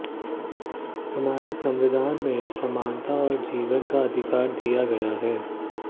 हमारे संविधान में समानता और जीवन का अधिकार दिया गया है